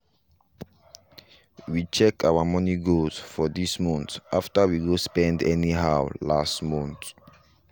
we check our money goals for this month after we go spend anyhow last month